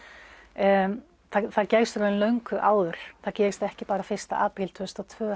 en það gerist í raun löngu áður það gerist ekki bara fyrsta apríl tvö þúsund og tvö